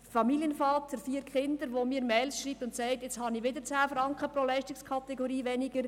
Ein Familienvater von vier Kindern schreibt mir Mails und sagt: «Nun habe ich wieder 10 Franken pro Leistungskategorie weniger.